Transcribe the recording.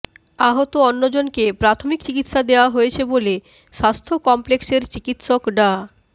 আহত অন্যজনকে প্রাথমিক চিকিৎসা দেয়া হয়েছে বলে স্বাস্থ্য কমপ্লেক্সের চিকিৎসক ডা